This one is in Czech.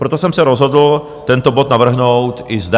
Proto jsem se rozhodl tento bod navrhnout i zde.